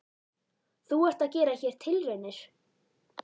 Þú ert að gera hér tilraunir?